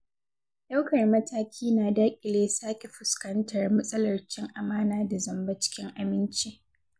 Ɗaukar mataki na daƙile sake fuskantar matsalar cin amana da zamba cikin aminci.